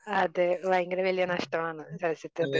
അതെ ഭയങ്കര വലിയ നഷ്ടമാണ് ചലച്ചിത്രത്തിന്